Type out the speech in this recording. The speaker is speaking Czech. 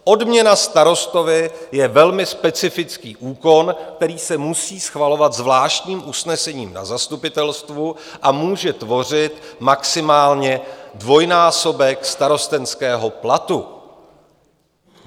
Odměna starostovi je velmi specifický úkon, který se musí schvalovat zvláštním usnesením na zastupitelstvu a může tvořit maximálně dvojnásobek starostenského platu.